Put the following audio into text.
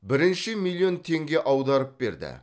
бірінші миллион теңге аударып берді